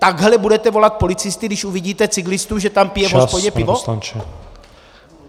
Takhle budete volat policisty, když uvidíte cyklistu, že tam pije v hospodě pivo?